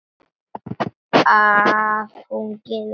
Að hún gefi óvænt eftir.